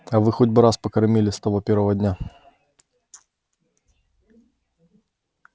а вы хоть бы раз покормили с того первого дня